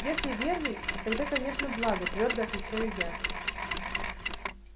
если верный тогда конечно благо твёрдо отвечаю я